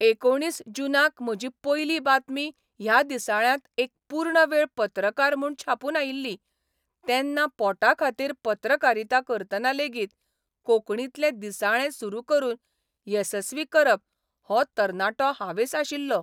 एकुणीस जूनाक म्हजी पयली बातमी ह्या दिसाळ्यांत एक पूर्ण वेळ पत्रकार म्हूण छापून आयिल्ली तेन्ना पोटा खातीर पत्रकारिता करतना लेगीत कोंकणींतलें दिसाळें सुरू करून येसस्वी करप हो तरणाटो हावेस आशिल्लो.